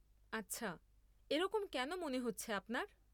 আচ্ছা। এরকম কেন মনে হচ্ছে আপনার?